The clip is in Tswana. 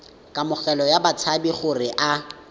kamogelo ya batshabi gore a